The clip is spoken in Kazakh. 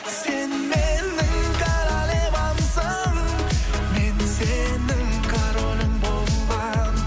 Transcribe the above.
сен менің королевамсың мен сенің королің боламын